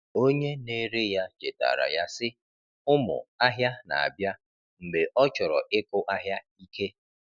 Onye na-ere ya chetaara ya, sị, “Ụmụ ahịa na-abịa,” mgbe ọ chọrọ ịkụ ahịa ike.